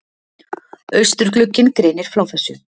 Austurglugginn greinir frá þessu